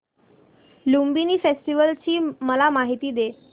Lumbini festival ची मला माहिती दे